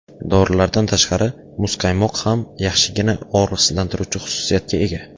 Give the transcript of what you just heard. Dorilardan tashqari, muzqaymoq ham yaxshigina og‘riqsizlantiruvchi xususiyatga ega.